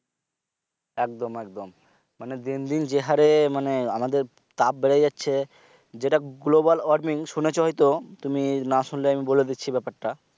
একদম একদম মানে দিন দিন যে হরে মানে আমাদের তাপ বেড়ে যাচ্ছে যেটা global warming শুনেছ হয়তো তুমি না শুনলে আমি বলে দিচ্ছি বেপারটা